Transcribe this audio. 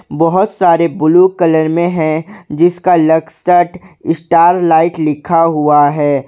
बहोत सारे blue colour में है जिसका लक्सत स्टार लाइट लिखा हुआ है।